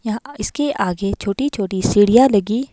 यहां इसके आगे छोटी-छोटी सीढ़ियां लगी --